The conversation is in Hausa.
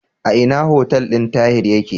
A ina hotel din Tahir yake?